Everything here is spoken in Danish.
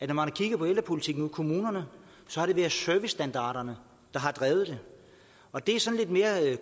man har kigget på ældrepolitikken ude i kommunerne så har det været servicestandarderne der har drevet det og det er sådan lidt mere